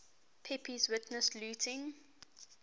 pepys witnessed looting